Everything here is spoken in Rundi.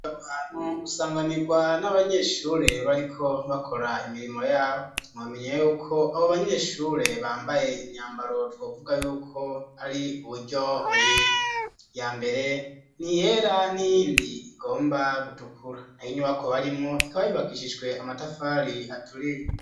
Ahantu usanganirwa ,n'abanyeshure bariko bakora imirimo yabo, nuamenye yuko abo banyeshure bambaye imyambaro twavuga yuko ari uburyo bubiri, ya mbere ni yera niyindi igomba gutukura na hinyubako barimo ikaba bibakishijwe amatafari aturiye